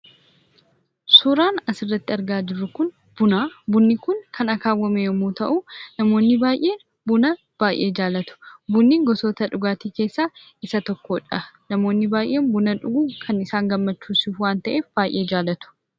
Suuraan asirratti argaa jirru kun buna. Bunni kun, kan akaawwame yemmuu ta'u, namoonni baay'een buna baay'ee jaallatu. Bunni gosoota dhugaatii keessa isa tokkodha. Namoonni baay'een buna dhuguun kan isaan gammachisu waan ta'eef baay'ee jaallatu.